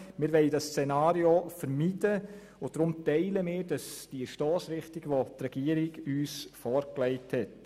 Wir wollen dieses Szenario vermeiden und teilen die Stossrichtung, wie sie uns die Regierung vorgelegt hat.